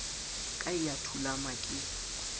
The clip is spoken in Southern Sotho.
ka e a thulama ke